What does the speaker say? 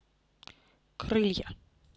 крылья